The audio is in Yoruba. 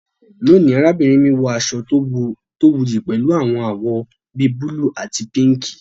Lónìí, arábìnrin mi wọ aṣọ tí ó wuyì pẹ̀lú àwọn àwọ̀ bi búlúù àti píǹǹkì